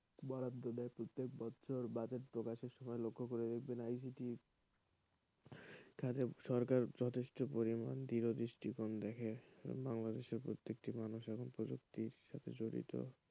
বরাদ্দ দেয় প্রত্যেক বছর বাজেট প্রকাশের সময় লক্ষ্য করে দেখবেন ICT কাজেই সরকার যথেষ্ট পরিমাণ দৃঢ় দৃষ্টিকোণ দেখে বাংলাদেশের প্রতিটি মানুষ এখন প্রযুক্তির সাথে জড়িত।